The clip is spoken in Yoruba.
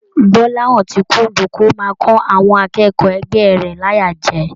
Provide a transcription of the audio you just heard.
Gbolahan tí kúndùn kó máa kọ àwọn akẹ́kọ̀ọ́ ẹgbẹ rẹ láyà jẹ.